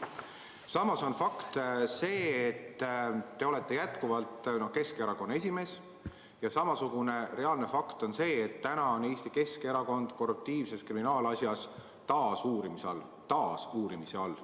Samas on fakt, et te olete jätkuvalt Keskerakonna esimees, ja samasugune fakt on see, et Eesti Keskerakond on seoses korruptiivse kriminaalasjaga taas uurimise all.